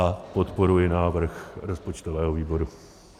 A podporuji návrh rozpočtového výboru.